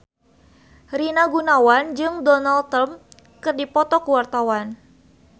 Rina Gunawan jeung Donald Trump keur dipoto ku wartawan